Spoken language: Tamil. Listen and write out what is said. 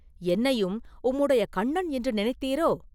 என்னையும் உம்முடைய கண்ணன் என்று நினைத்தீரோ?